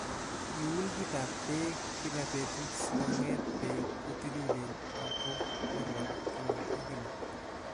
Iun kitab beek kila betut sikongeet beek kotililen ak ko koroon kila ak kila.